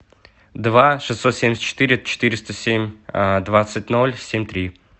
два шестьсот семьдесят четыре четыреста семь двадцать ноль семь три